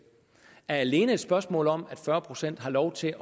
alene et spørgsmål om at fyrre procent har lov til